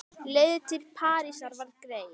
Leiðin til Parísar var greið.